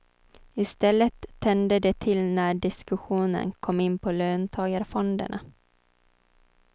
I stället tände det till när diskussionen kom in på löntagarfonderna.